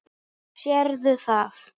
Sérðu það?